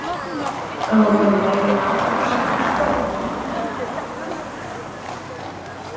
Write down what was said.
Á að fara í meira nám eftir stúdentsprófið?